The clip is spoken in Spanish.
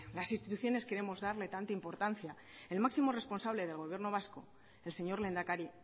las instituciones queremos darle tanta importancia el máximo responsable del gobierno vasco el señor lehendakari